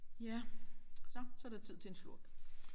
Ja så så er der tid til en slurk